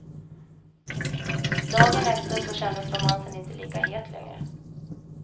Dagen efter så kändes romansen inte lika het längre.